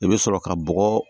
I bɛ sɔrɔ ka bɔgɔ